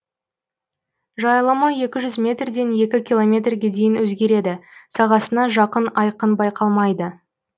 жайылымы екі жүз метрден екі километрге дейін өзгереді сағасына жақын айкын байқалмайды